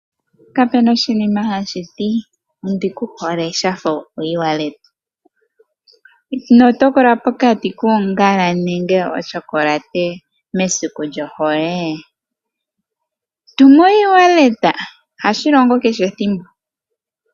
Kape na oshinima hashi ti ondi ku hole shafa okutuma oshimaliwa kongodhi to longitha oFNB. Ino tokola pokati koongala nochokolate mesiku lyohole? Tuma oshimaliwa kongodhi ohashi longo kehe ethimbo.